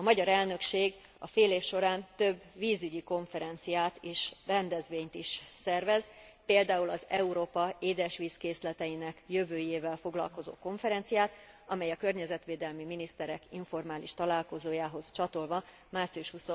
A magyar elnökség során vízügyi konferenciát és rendezvényt is szervez, például az Európa édesvízkészleteinek jövőjével foglalkozó konferenciát, amely a környezetvédelmi miniszterek informális találkozójához csatolva, március